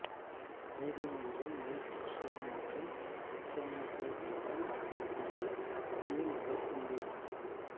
நீதிமன்றம் Mel Gibson மற்றும் Oksana Grigorieva ஆகியவற்றுக்கு இடையில் வழக்கு முடிவடைந்தது